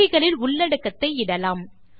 பெட்டிகளில் உள்ளடத்தை இடலாம்